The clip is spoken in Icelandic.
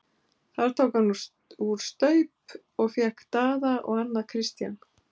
Þar tók hann úr staup og fékk Daða og annað Christian.